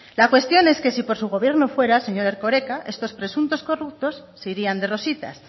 la cuestión es que si por su gobierno fuera señor erkoreka estos presuntos corruptos se irían de rositas